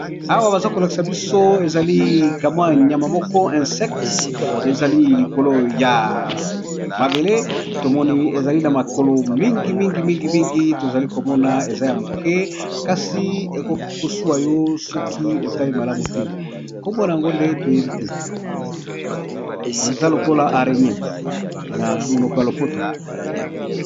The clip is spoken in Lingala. Awa namoni balakisi biso ezali kanyama moko ya muke babenga namonoko ya lopoto aregnee